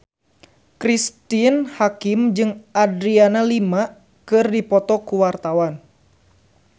Cristine Hakim jeung Adriana Lima keur dipoto ku wartawan